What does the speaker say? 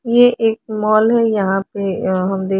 ये एक मॉल है यहाँ अःह हम दे--